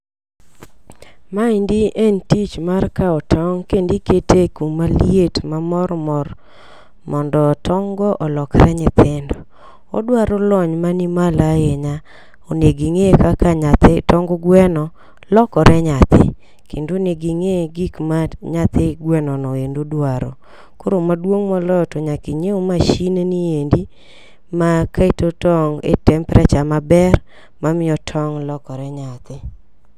Maendi en tich mar kawo tong' kendi kete kuma liet mamor mor mondo tong' go olokre nyithindo. Odwaro lony mani malo ahinya. Oneging'e kaka nyathi tong gweno lokore nyathi kendo onegi ing'e gik ma nyathi gweno no endo dwaro. Koro maduong' moloyo to nyaki nyiew masin ni endi ma keto tong' e temprature maber mamiyo tong' lokore nyathi.